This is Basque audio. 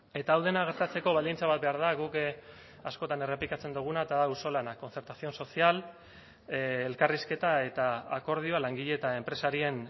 eta hau dena gertatzeko baldintza bat behar da guk askotan errepikatzen duguna eta da auzolana concertación social elkarrizketa eta akordioa langile eta enpresarien